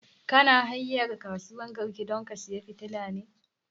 Kana hanyan kasuwan garki don ka saya fitilan ne?